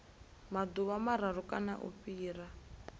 maḓuvha mararu kana u fhira